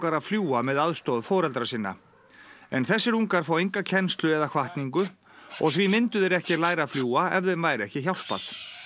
að fljúga með aðstoð foreldra sinna en þessir ungar fá enga kennslu eða hvatningu og því myndu þeir ekki læra að fljúga ef þeim væri ekki hjálpað